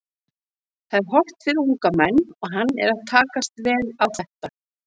Það er hollt fyrir unga menn og hann er að takast vel á þetta.